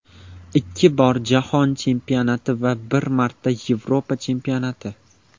Ikki bor Jahon chempionati va bir marta Yevropa chempionati.